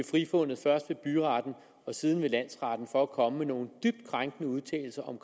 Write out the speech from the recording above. frifundet først ved byretten og siden ved landsretten for at komme med nogle dybt krænkende udtalelser om